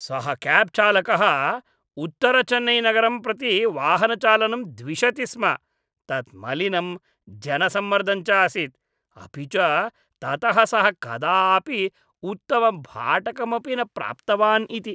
सः क्याब् चालकः उत्तरचेन्नैनगरं प्रति वाहनचालनं द्विषति स्म, तत् मलिनम्, जनसम्मर्दं च आसीत्, अपि च ततः सः कदापि उत्तमं भाटकमपि न प्राप्तवान् इति।